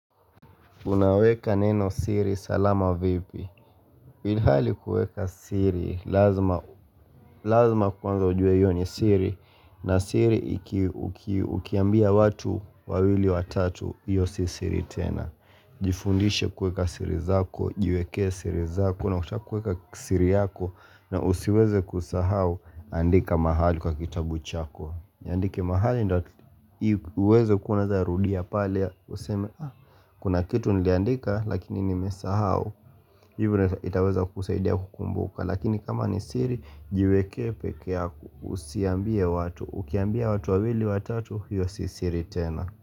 Unaweka neno siri, salama vipi Ilhali kueka siri, lazima kwanza ujue hiyo ni siri na siri ikiambia watu, wawili watatu, hiyo si siri tena Jifundishe kueka siri zako, jweke siri zako Kuna kutakuweka siri yako, na usiweze kusahau andika mahali kwa kitabu chako Andike mahali nda uweze kuna za rudia pale Kuna kitu niliandika lakini nimesahau Hivyo itaweza kusaidia kukumbuka Lakini kama ni siri jiwekee peke yako usiambie watu Ukiambia watu wawili watatu hiyo sisiri tena.